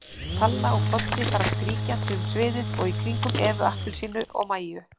Palla og Poddi fara skríkjandi um sviðið og í kringum Evu appelsínu og Mæju.